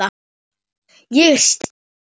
Ég er sterk.